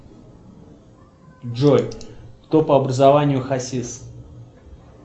джой кто по образованию хасис